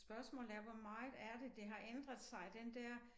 Spørgsmålet er hvor meget er det det har ændret sig den der